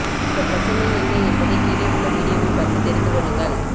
அந்த பிரச்சனை என்ன என்பதை கீழே உள்ள வீடியோவை பார்த்து தெரிந்து கொள்ளுங்கள்